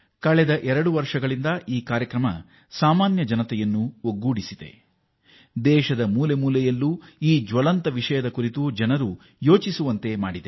ಕಳೆದ ಎರಡು ವರ್ಷಗಳ ಅವಧಿಯಲ್ಲಿ ಈ ಕಾರ್ಯಕ್ರಮ ಶ್ರೀಸಾಮಾನ್ಯನನ್ನೂ ತನ್ನಲ್ಲಿ ಸೇರಿಸಿಕೊಂಡಿದೆ ದೇಶದ ಎಲ್ಲ ಮೂಲೆಗಳ ಜನರನ್ನೂ ಈ ಜ್ವಲಂತ ಸಮಸ್ಯೆಯ ಬಗ್ಗೆ ಚಿಂತಿಸುವಂತೆ ಮಾಡಿದೆ